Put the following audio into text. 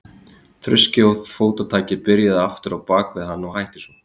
Þruskið og fótatakið byrjaði aftur á bak við hann og hætti svo.